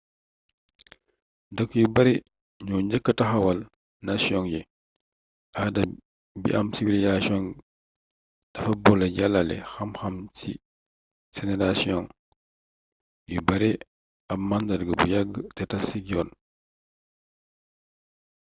dëkk yu bare ñoo njëkk taxawal nasiyong yi aada b am civilisasisyong dafa boole jàlale xam xam ci senerasiyong yu bare aab màndarga bu yàgg te tass ci yoon